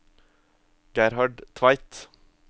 Gerhard Tveit